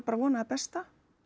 að vona það besta